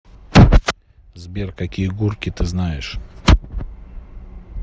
сбер какие гурки ты знаешь